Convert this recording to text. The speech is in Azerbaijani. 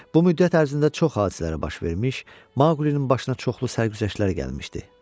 Bu müddət ərzində çox hadisələr baş vermiş, Maqlinin başına çoxlu sərgüzəştlər gəlmişdi.